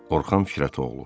Orxan Firətoğlu.